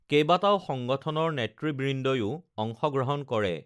কেইবাটাও সংগঠনৰ নেতৃবৃন্দইও অংশগ্ৰহণ কৰে